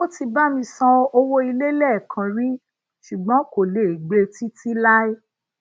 ó ti bá mi san owó ilé leekan rí ṣùgbọn kò lè gbe titi lai